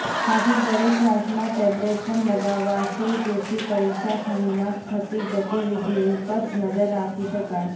સાથે દરેક ક્લાસમાં ટેબલેટ પણ લગાવાશે જેથી પરીક્ષાખંડમાં થતી ગતિવિધિઓ પર નજર રાખી શકાય